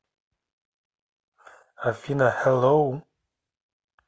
афина хэлоу